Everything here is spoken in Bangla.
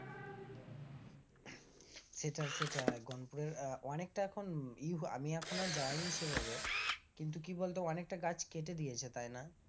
সেটাই সেটাই গনপুরের অনেকটা এখন আমি এখন আর যাইনি সেভাবে, কিন্তু কি বলতো অনেকটা গাছ কেটে দিয়েছে তাই না?